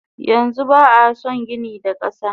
Yanxu ba ason gini da kasa.